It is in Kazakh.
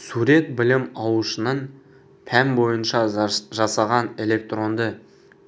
сурет білім алушының пән бойынша жасаған электронды